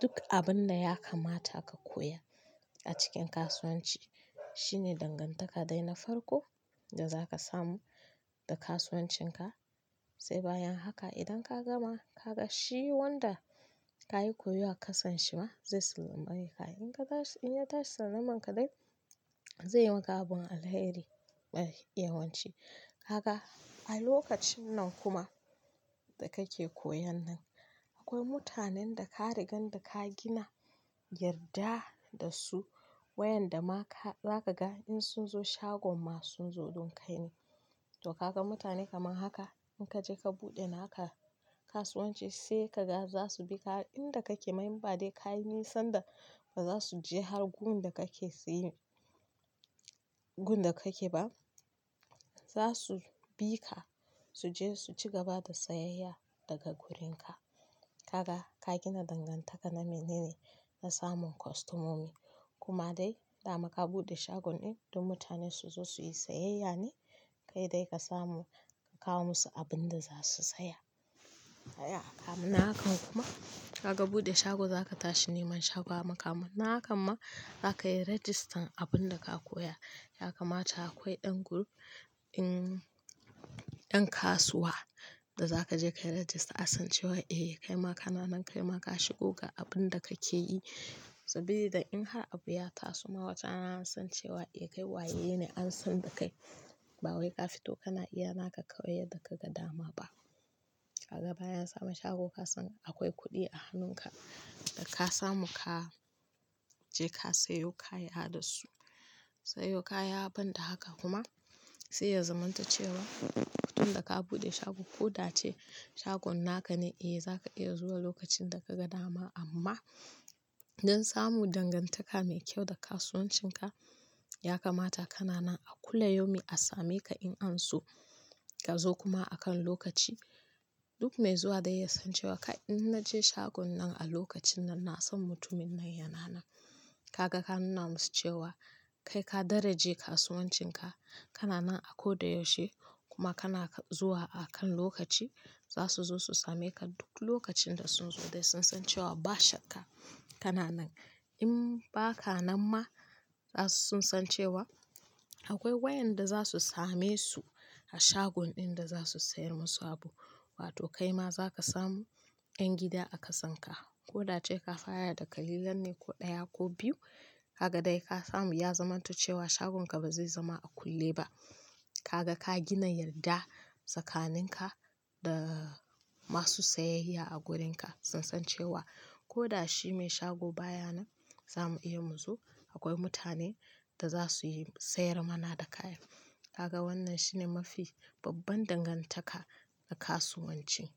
duk abin da ya kamata ka koya a cikin kasuwanci shine dangantaka dai na farko da za ka samu da kasuwancinka. Sai bayan haka idan ka gama ka ga shi wanda ka yi koyo a kasanshi ma zai sallame ka. In ka tashi in ya tashi sallamanka dai zai yi maka abin alheri mai yawanci. Kaga a lokacin nan kuma da kake koyan nan akwai mutanen da ka riga da ka gina yarda da su wayanda ma ka za ka ga in sun zo shagon ma sun zo don kai ne. To ka ga mutane kamar haka in ka je ka buɗe naka kasuwanci sai ka ga za su bi ka inda kake ma inba dai ka yi nisanda ba za su je har gun da kake saye gun da kake ba. Za su bi ka su je su ci gaba da sayayya daga gurinka. Kaga ka gina dangantaka na mene ne na samun kostomomi kuma dai dama ka buɗe shagon ɗin don mutane su zo su yi sayayya ne kai dai ka samu ka kawo musu abin da za su saya. Saya a kamun hakan kuma kaka buɗe shago za ka tashi neman shago a mukamun hakan ma za ka yi rajistan abin da ka koya. Ya kamata akwai ɗan group ɗin ɗan kasuwa da za ka je ka yi rajista asan cewa eh kaima ka nanan kaima ka shigo ga abin da kake yi sabilida in har abu ya taso ma wata rana sun cewa eh kai waye ne an san da kai ba wai ka fito kana iya naka ka koyi yadda kaga dama ba. Haka bayan sama shago ka san akwai kuɗi a hannunka da ka samu ka je ka sayo kaya da su sayo kaya ban da haka kuma sai ya zamanto cewa tun da ka buɗe shago ko da ce shagon naka ne eh za ka iya zuwa lokacin da kaga dama amma don samu dangantaka mai kyau da kasuwancinka ya kamata ka nanan a kula yomi a same ka in an so ka zo kuma a kan lokaci. Duk mai zuwa dai ya san cewa kai in na je shagon nan a lokacin nan na san mutumin nan yana nan. Kaga ka nuna musu cewa kai ka daraje kasuwancinka ka nanan a ko da yaushe kuma kana zuwa a kan lokaci za su zo su same ka duk lokacin da sun zo dai sun san cewa ba shakka ka nanan. In ba ka nan ma za su san cewa akwai wayanda za su same su a shagon ɗin da za su sayar musu abu. Wato kaima za ka samu ƴan gida a kasanka ko da ce ka fara da kalilan ne ko ɗaya ko biyu kaga dai ka samu ya zamanto cewa shagonka ba zai zama a kulle ba. Kaga ka gina yarda tsakaninka da masu sayayya a gurinka sun san cewa ko da shi mai shago baya nan za mu iya mu zo akwai mutane da za su yi sayar mana da kaya. Kaga wannan shine mafi babban dangantaka na kasuwanci.